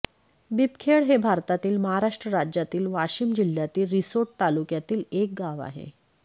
बिबखेड हे भारतातील महाराष्ट्र राज्यातील वाशिम जिल्ह्यातील रिसोड तालुक्यातील एक गाव आहे